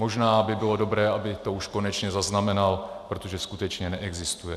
Možná by bylo dobré, aby to už konečně zaznamenal, protože skutečně neexistuje.